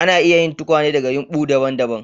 Ana iya yin tukwane daga yumɓu daban-daban.